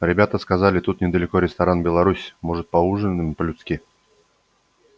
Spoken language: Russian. ребята сказали тут недалеко ресторан беларусь может поужинаем по людски